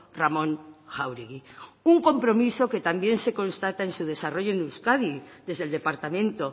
ramón jáuregui un compromiso que también se constata en su desarrollo en euskadi desde el departamento